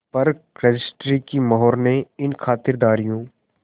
पर रजिस्ट्री की मोहर ने इन खातिरदारियों